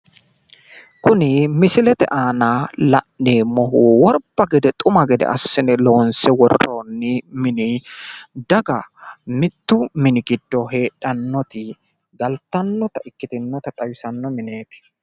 Kuni misilete aana la'neemmohu worbba xuma gede assine loonsse worroonni mini, daga mittu mini giddo heedhannoti galttannota ikkinota xawisanno mineeeti.